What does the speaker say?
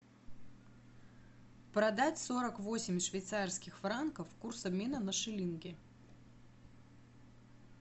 продать сорок восемь швейцарских франков курс обмена на шиллинги